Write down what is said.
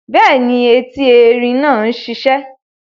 Bẹ́ẹ̀ni, eti erin náà sisẹ́